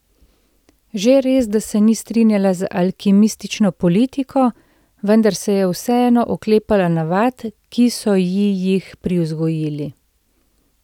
Že res, da se ni strinjala z alkimistično politiko, vendar se je vseeno oklepala navad, ki so ji jih privzgojili.